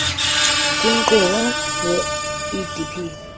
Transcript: kwinkqubo ye idp